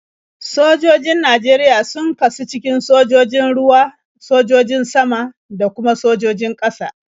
Sojojin Najeriya sun kasu cikin sojojin ruwa, sojojin sama, da kuma sojojin ƙasa.